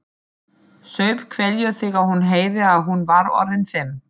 Saup hveljur þegar hún heyrði að hún var orðin fimm.